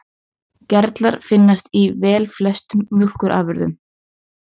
Gerlar finnast í velflestum mjólkurafurðum.